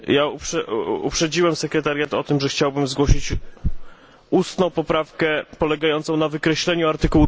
Ja uprzedziłem sekretariat o tym, że chciałbym zgłosić ustną poprawkę polegającą na wykreśleniu art.